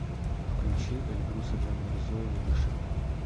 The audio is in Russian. включи эльбруса джанмирзоева дыши